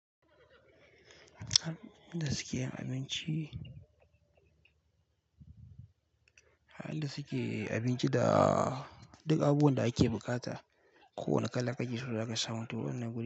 Hanyar da suke yin abinci, hanyar da suke abinci da duk abubuwan da ake buƙata. Kowane kala kake so zaka samu toh wannan guri.